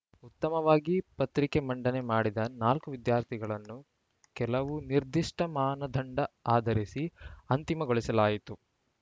ಉತ್ತಮವಾಗಿ ಪತ್ರಿಕೆ ಮಂಡನೆ ಮಾಡಿದ ನಾಲ್ಕು ವಿದ್ಯಾರ್ಥಿಗಳನ್ನು ಕೆಲವು ನಿರ್ದಿಷ್ಟಮಾನದಂಡ ಆಧರಿಸಿ ಅಂತಿಮಗೊಳಿಸಲಾಯಿತು